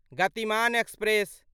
Gatimaan express